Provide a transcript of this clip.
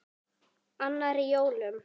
Annar í jólum.